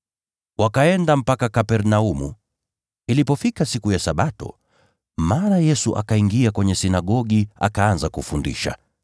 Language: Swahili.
Wakaenda mpaka Kapernaumu. Ilipofika siku ya Sabato, mara Yesu akaingia sinagogi, akaanza kufundisha.